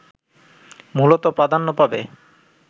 মূলত প্রাধান্য পাবে